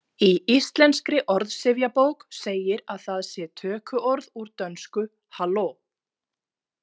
Í Íslenskri orðsifjabók segir að það sé tökuorð úr dönsku hallo.